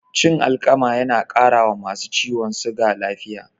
Cin alkama na ƙara wa masu ciwon suga lafiya